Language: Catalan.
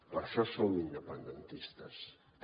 per això som independentistes també